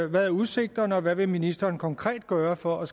hvad er udsigterne og hvad vil ministeren konkret gøre for at